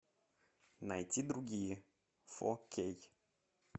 найти другие фо кей